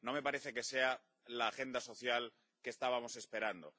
No me parece que sea la agenda social que estábamos esperando.